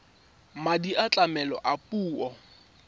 madi a tlamelo a puso